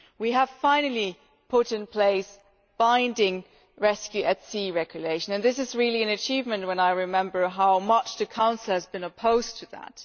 We have finally put in place a binding rescue at sea regulation and this is really an achievement, when I recall how much the Council has been opposed to that.